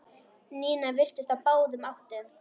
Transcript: Nína virtist á báðum áttum.